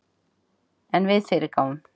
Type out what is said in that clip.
En við fyrirgáfum